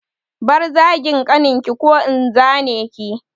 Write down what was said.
Bar zagin ƙaninki ko in zane ki!